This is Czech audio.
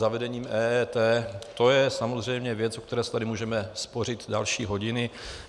Zavedení EET, to je samozřejmě věc, u které se tady můžeme spořit další hodiny.